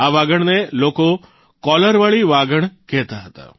આ વાઘણને લોકો કોલર વાળી વાઘણ કહેતા હતા